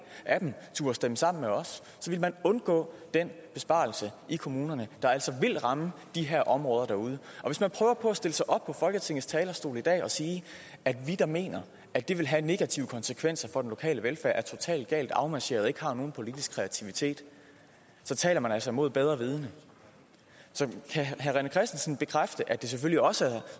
af dem turde stemme sammen med os ville man undgå den besparelse i kommunerne der altså vil ramme de her områder derude og hvis man prøver på at stille sig op på folketingets talerstol i dag og sige at vi der mener at det vil have negative konsekvenser for den lokale velfærd er totalt galt afmarcheret og ikke har nogen politisk kreativitet så taler man altså mod bedre vidende så kan herre rené christensen bekræfte at det selvfølgelig også er